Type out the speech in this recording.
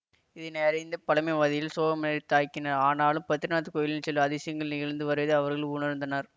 இதனையறிந்த பழமைவாதிகள் சோகமேளரைத் தாக்கினர் ஆனாலும் பத்ரிநாத் கோயிலில் சில அதிசயங்கள் நிகழ்ந்து வருவதை அவர்கள் உணர்ந்தனர்